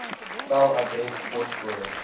tel adres poskode